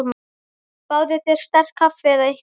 Fáðu þér sterkt kaffi eða eitthvað.